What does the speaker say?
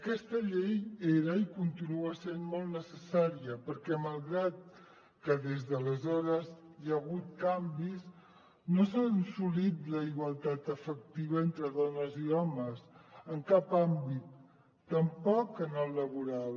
aquesta llei era i continua sent molt necessària perquè malgrat que des d’aleshores hi ha hagut canvis no s’ha assolit la igualtat efectiva entre dones i homes en cap àmbit tampoc en el laboral